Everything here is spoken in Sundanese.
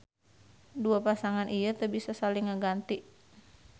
Dua pasangan ieu teu bisa saling ngaganti